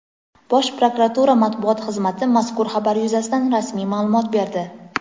Bosh prokuratura Matbuot xizmati mazkur xabar yuzasidan rasmiy ma’lumot berdi.